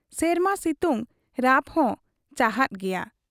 ᱥᱮᱨᱢᱟ ᱥᱤᱛᱩᱝ ᱨᱟᱯᱦᱚᱸ ᱪᱟᱨᱟᱫ ᱜᱮᱭᱟ ᱾